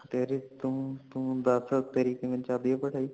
ਤੇਰੀ ਤੂੰ, ਤੂੰ ਦੱਸ ਤੇਰੀ ਕਿਵੇਂ ਚਾਲ ਰਹੀ ਏ ਪੜਾਇ